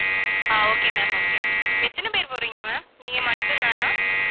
ஆஹ் okay ma'am okay எத்தனை பேர் போறீங்க ma'am நீங்க மட்டும்தானா